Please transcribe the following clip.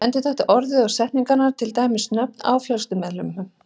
Endurtaktu orð eða setningar, til dæmis nöfn á fjölskyldumeðlimum.